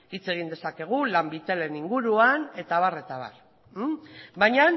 hitz egin dezakegu lanbitelen inguruan eta abar eta abar baina